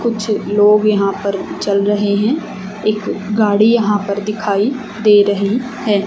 कुछ लोग यहां पर चल रहे हैं एक गाड़ी यहां पर दिखाई दे रही है।